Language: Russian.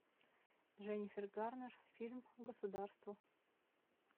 дженнифер гарнер фильм государство